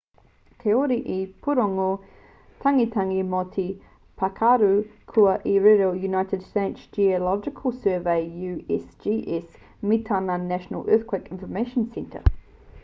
kāore he pūrongo tangetange mō te pakaru kua riro i te united states geological survey usgs me tana national earthquake information center